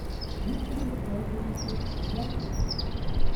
виктору александровичу гладких